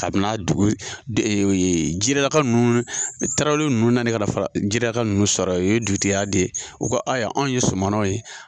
Kabini n'a dugu de ee jirelaka nunnu tarawele nunnu na ne ka na fara jirelaka nunnu sɔrɔ ye u ye dugutiya di u ko ayiwa anw ye sɔmɔnɔw ye